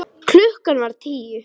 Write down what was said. Klukkan var tíu.